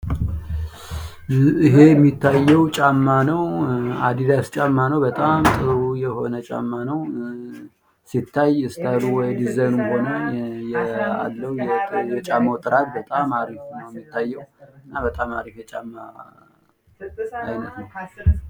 ይሄ የሚያየው ጫማ ነው። አዲዳስ ጫማ ነው። በጣም ጥሩ የሆነ ጫማ ነው። ሲታይ ስትይሉ ወይም ዲዛይኑ ቆንጆ ነው። የጫማው ጥራት በጣም አሪፍ ነው። እንደሚታየው እና በጣም አሪፍ ጫማ ነው።